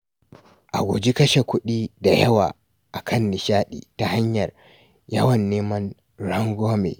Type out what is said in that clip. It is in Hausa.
A guji kashe kuɗi da yawa a kan nishaɗi ta hanyar yawan neman rangwame.